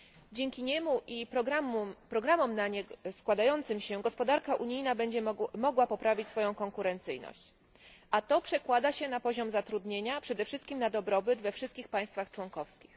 Dzięki nim i programom składającym się na nie gospodarka unijna będzie mogła poprawić swoją konkurencyjność, a to przekłada się na poziom zatrudnienia i przede wszystkim na dobrobyt we wszystkich państwach członkowskich.